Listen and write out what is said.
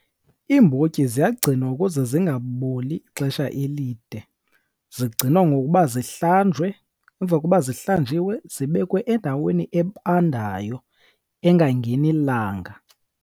Iimbotyi ziyagcinwa ukuze zingaboli ixesha elide. Zigcinwa ngokuba zihlanjwe emva koba zihlanjiwe zibekwe endaweni ebandayo engangeni langa.